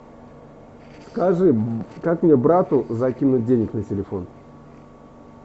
скажи как мне брату закинуть денег на телефон